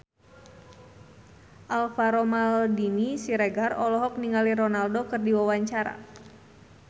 Alvaro Maldini Siregar olohok ningali Ronaldo keur diwawancara